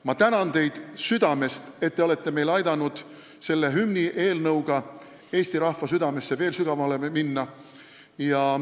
Ma tänan teid südamest, et te olete meil aidanud selle hümnieelnõuga veel sügavamale eesti rahva südamesse minna!